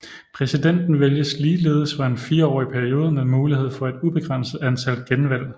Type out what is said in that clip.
Præsidenten vælges ligeledes for en fireårig periode med mulighed for et ubegrænset antal genvalg